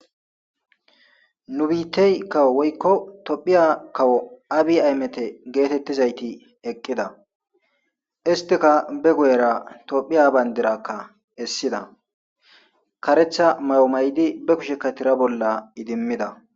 nu biittey kawo woykko tophiya kawo abi aymete geetettizayti eqqida istika be guyera tophiya bayndirakka essida karetha mayo may7di be kushe ka tira bolla idimmida